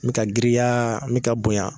N bɛ ka girinya, n bɛ ka bonya.